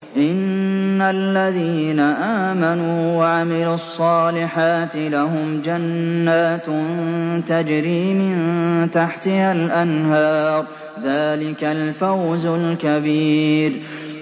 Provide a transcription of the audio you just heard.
إِنَّ الَّذِينَ آمَنُوا وَعَمِلُوا الصَّالِحَاتِ لَهُمْ جَنَّاتٌ تَجْرِي مِن تَحْتِهَا الْأَنْهَارُ ۚ ذَٰلِكَ الْفَوْزُ الْكَبِيرُ